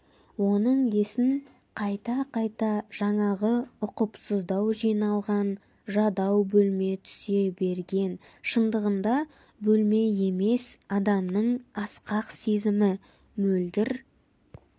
оның есін қайта-қайта жаңағы ұқыпсыздау жиналған жадау бөлме түсе берген шындығында бөлме емес адамның асқақ сезімі мөлдір